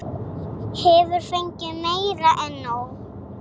Hefur fengið meira en nóg.